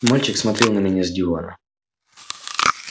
мальчик смотрел на меня с дивана